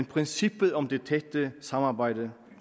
princippet om det tætte samarbejde